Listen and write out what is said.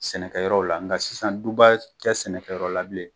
Sɛnɛkɛyɔrɔw la. Nga sisan duba tɛ sɛnɛkɛyɔrɔ la bilen.